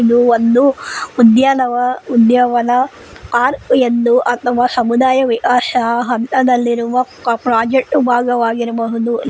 ಇದು ಒಂದು ಉದ್ಯಾನವ ಉದ್ಯಾವನ ಆರ್ ಎಂದು ಅಥವಾ ಸಮುದಾಯ ವಿಹಾಶ ಹಂತದಲ್ಲಿರುವ ಪ್ರಾಜೆಕ್ಟು ಭಾಗವಾಗಿರಬಹುದು.